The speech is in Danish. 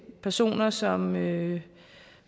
personer som